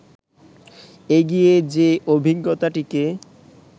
এগিয়ে যে-অভিজ্ঞতাটিকে